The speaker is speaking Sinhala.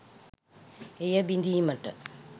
එය බිඳීමට